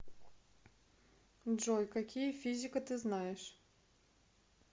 джой какие физика ты знаешь